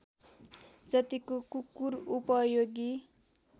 जत्तिको कुकुर उपयोगी